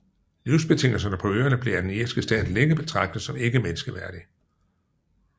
Livsbetingelserne på øerne blev af den irske stat længe betragtet som ikke menneskeværdig